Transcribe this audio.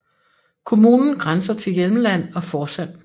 Kommunen grænser til Hjelmeland og Forsand